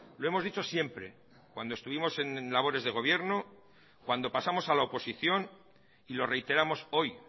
lo hemos dicho siempre cuando estuvimos en labores de gobierno cuando pasamos a la oposición y lo reiteramos hoy